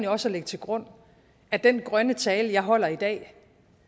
også at lægge til grund at den grønne tale jeg holder i dag